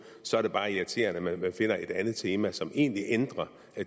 så er det bare irriterende at man finder et andet tema som egentlig ændrer